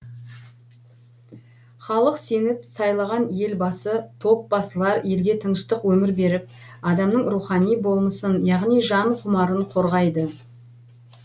халық сеніп сайлаған ел басы топ басылар елге тыныштық өмір беріп адамның рухани болмысын яғни жан құмарын қорғайды